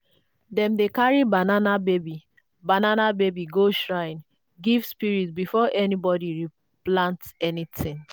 dem dey carry banana baby banana baby go shrine give spirits before anybody replant anything.